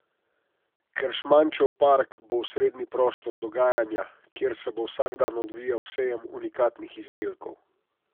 Keršmančev park bo osrednji prostor dogajanja, kjer se bo vsak dan odvijal sejem unikatnih izdelkov.